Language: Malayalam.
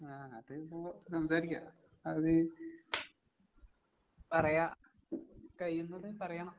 ആഹ് അതിപ്പൊ സംസാരിക്കാം. അത് നീ പറയാ കഴിയുന്നത് പറയണം.